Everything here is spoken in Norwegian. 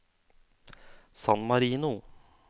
San Marino